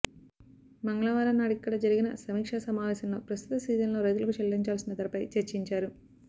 మంగళవారం నాడిక్కడ జరిగిన సమీక్షా సమావేశంలో ప్రస్తుత సీజన్లో రైతులకు చెల్లించాల్సిన ధరపై చర్చించారు